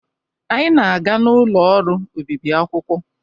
Anyị na-aga n'ụlọ ọrụ obibi akwụkwọ.